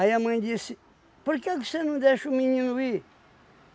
Aí a mãe disse, por que que você não deixa o menino ir?